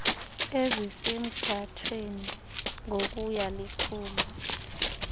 ezisemgathweni ngokuya likhula